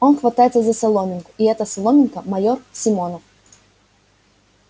он хватается за соломинку и эта соломинка майор симонов